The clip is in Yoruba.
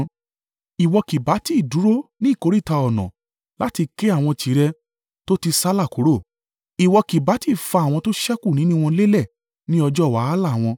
Ìwọ kì bá tí dúró ní ìkóríta ọ̀nà láti ké àwọn tirẹ̀ tó ti sálà kúrò. Ìwọ kì bá tí fa àwọn tó ṣẹ́kù nínú wọn lélẹ̀ ní ọjọ́ wàhálà wọn.